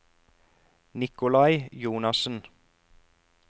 Nicolai Jonassen